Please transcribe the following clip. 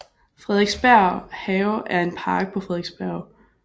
Frederiksberg Have er en park på Frederiksberg